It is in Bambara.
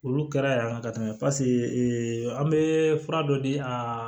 Olu kɛra yan ka tɛmɛ paseke an be fura dɔ di a